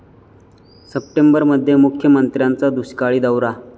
सप्टेंबरमध्ये मुख्यमंत्र्यांचा दुष्काळी दौरा